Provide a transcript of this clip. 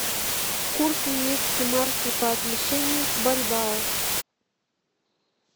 курс немецкой марки по отношению к бальбоа